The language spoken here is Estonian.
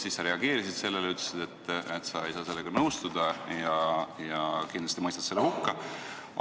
Siis sa reageerisid sellele, ütlesid, et sa ei saa sellega nõustuda ja kindlasti mõistad selle hukka.